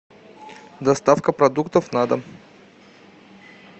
доставка продуктов на дом